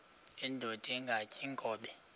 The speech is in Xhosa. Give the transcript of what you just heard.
indod ingaty iinkobe